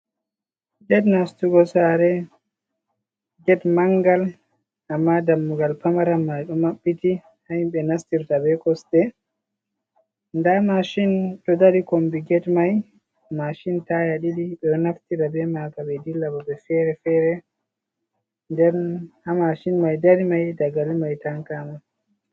Get nastugo sare. Get mangal amma dammugal pamaran maido mabbiti hahimbe nastirta be kosɗe . Nda mashin ɗo dari kombi get mai, mashin taya ɗiɗi beɗo naftira be maka be dilla babe fere-fere. Nden ha mashin mai dari dagalimai ɗo tanki sosai.